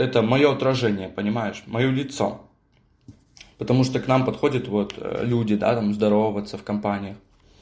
это моё отражение понимаешь моё лицо потому что к нам подходят вот люди да там здороваться в компании